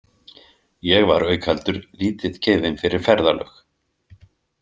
Ég var auk heldur lítið gefinn fyrir ferðalög.